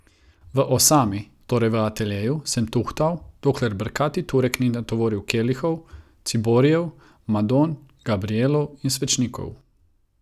V osami, torej v ateljeju, sem tuhtal, dokler brkati Turek ni natovoril kelihov, ciborijev, madon, Gabrijelov in svečnikov.